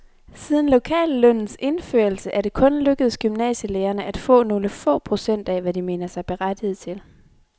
Siden lokallønnens indførelse er det kun lykkedes gymnasielærerne at få nogle få procent af, hvad de mener sig berettiget til.